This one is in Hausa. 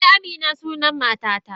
Eh, Amina ne sunan matata.